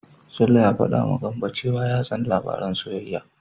Sule ya faɗawa Gambo cewa ya tsani labaran soyayya.